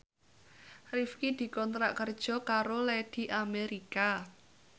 Rifqi dikontrak kerja karo Lady America